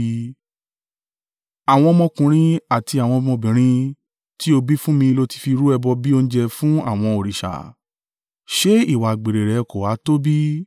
“ ‘Àwọn ọmọkùnrin àti àwọn ọmọbìnrin tí o bí fún mi lo ti fi rú ẹbọ bí oúnjẹ fún àwọn òrìṣà. Ṣé ìwà àgbèrè rẹ kò ha tó bí?